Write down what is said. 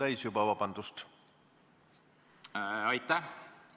Aitäh!